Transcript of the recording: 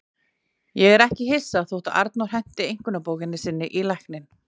Ég er ekki hissa þó að Arnór henti einkunnabókinni sinni í lækinn.